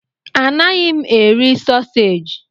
Anaghị m eri sausaji.